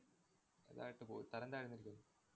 അതായിട്ട് പോയി. തരംതാഴുന്നല്ലേ.